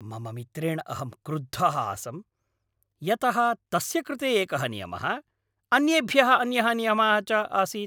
मम मित्रेण अहं क्रुद्धः आसं, यतः तस्य कृते एकः नियमः, अन्येभ्यः अन्यः नियमः च आसीत्।